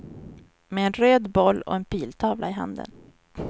Med en röd boll och en piltavla i handen.